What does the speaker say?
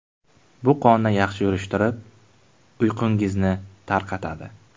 Bu qonni yaxshi yurishtirib, uyqungizni tarqatadi.